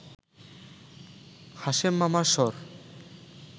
হাশেম মামার স্বর